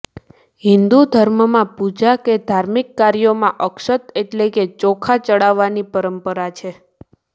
હિન્દુ ધર્મમાં પૂજા કે ધાર્મિક કાર્યોમાં અક્ષત એટલે કે ચોખા ચડાવવાની પરંપરા છે